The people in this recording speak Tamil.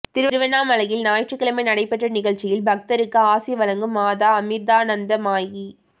திருவண்ணாமலையில் ஞாயிற்றுக்கிழமை நடைபெற்ற நிகழ்ச்சியில் பக்தருக்கு ஆசி வழங்கும் மாதா அமிா்தானந்தமயி